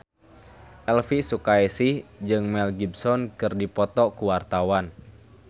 Elvi Sukaesih jeung Mel Gibson keur dipoto ku wartawan